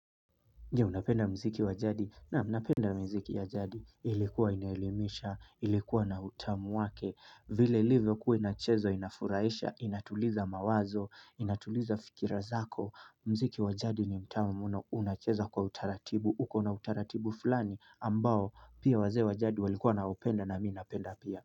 Je unapenda mziki wa jadi na unapenda mziki wa jadi ilikuwa inahelimisha ilikuwa na utamu wake vile ilivyokuwa inachezwa inafuraisha inatuliza mawazo inatuliza fikira zako mziki wa jadi ni mtamu na unacheza kwa utaratibu huko na utaratibu fulani ambao pia wazee wa jadi walikuwa wana upenda na minapenda pia.